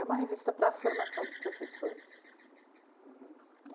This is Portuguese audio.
É uma revista para a formação de professores.